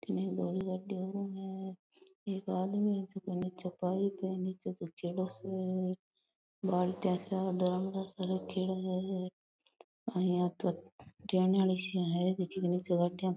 अठीने एक धोली गाड़ी ओरु है एक आदमी है जको नीचे पाइप है जो नीचे झुक्योड़ो सो है बाल्टियां सा ड्रम सा रखेड़ा है आ इया तो टेनिया सी है जकी नीचे गाड़ियां --